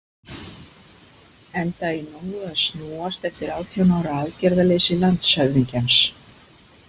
Enda í nógu að snúast eftir átján ára aðgerðaleysi landshöfðingjans.